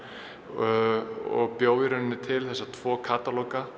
og bjó í rauninni til þessa tvo